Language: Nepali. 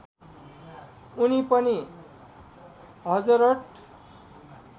उनी पनि हजरत